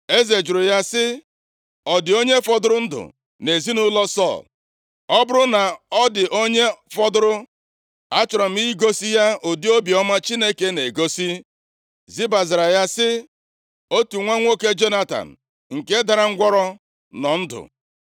Eze jụrụ ya sị, “Ọ dị onye fọdụrụ ndụ nʼezinaụlọ Sọl? Ọ bụrụ na ọ dị onye fọdụrụ, achọrọ m igosi ya ụdị obiọma Chineke na-egosi.” Ziba zara ya sị, “Otu nwa nwoke Jonatan, nke dara ngwụrọ nọ ndụ.”